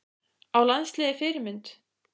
Á landsliðið Fyrirmynd?